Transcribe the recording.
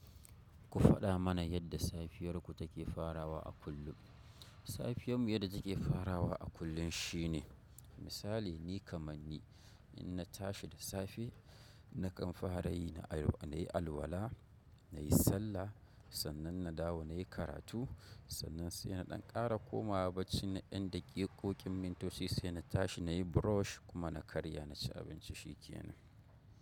Ku faɗa mana yadda safiyarku take farawa a kullum. Safiyarmu yadda take farawa a kullum shine, misali ni kamanni in na tashi da safe, na ƙanfare, na yi alwala, na yi sallah, sannan na dawo na yi karatu, sannan sai na ɗan ƙara komawa bacci na ɗan dakiko ƙin mintoci sai na tashi na yi brush kuma na karya na ci abinci shikenan.